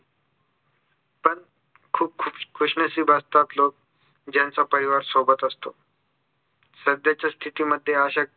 पण खूप खु खुशनसीब असतात लोक ज्यांचा परिवार सोबत असतो सध्याच्या स्तिथीमध्ये अशा